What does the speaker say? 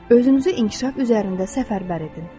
Özünüzü inkişaf üzərində səfərbər edin.